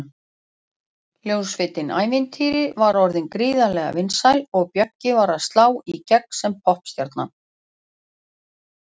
Hljómsveitin Ævintýri var orðin gríðarlega vinsæl og Bjöggi var að slá í gegn sem poppstjarna.